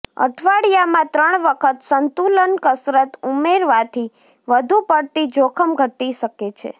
અઠવાડિયામાં ત્રણ વખત સંતુલન કસરત ઉમેરવાથી વધુ પડતી જોખમ ઘટી શકે છે